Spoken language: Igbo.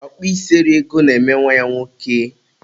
ọkpụ isi eri ego na-eme nwa ya nwoke